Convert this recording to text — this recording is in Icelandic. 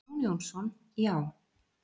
Jón Jónsson: Já.